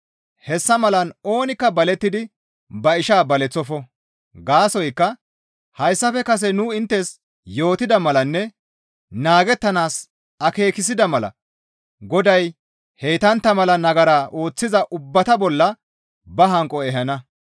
Hessa malan oonikka balettidi ba ishaa baleththofo; gaasoykka hayssafe kase nu inttes yootida malanne naagettanaas akeekissida mala Goday heytantta mala nagara ooththiza ubbata bolla ba hanqo ehana.